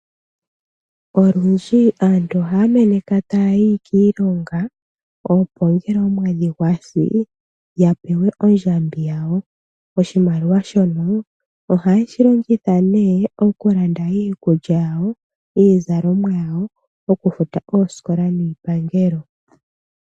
Olundji aantu ohaya meneka ta ya yi kiilonga, opo ngele omwedhi gwa si ya pewe oondjambi dhawo. Oshimaliwa shino oha ye shi longitha nduno oku landa iikulya, iizalomwa osho wo okufuta oosikola niipangelo.